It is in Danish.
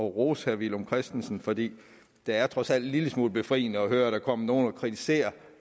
rose herre villum christensen for det det er trods alt en lille smule befriende at høre at der kommer nogle og kritiserer